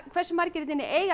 hversu margir hérna inni eiga